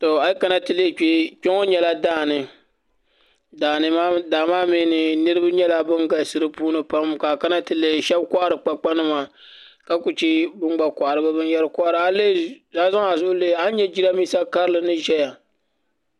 A yi kana ti lihi kpɛ kpɛ ŋo nyɛla daani daa maa mee ni niraba nyɛla ban galisi di puuni pam ka a kana ti lihi shab kohari kpakpa nima ka ku chɛ bin gba kohari bi binyɛra a yi zaŋ a zuɣu lihi a ni nyɛ jiranbiisa karili ni ʒɛya